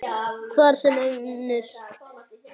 Hver sem önnur.